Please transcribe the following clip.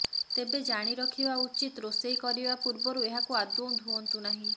ତେବେ ଜାଣି ରଖିବା ଉଚିତ ରୋଷେଇ କରିବା ପୂର୍ବରୁ ଏହାକୁ ଆଦୌ ଧୁଅନ୍ତୁ ନାହିଁ